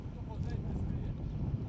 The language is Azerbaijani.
Daha sonra desin, bilmirəm.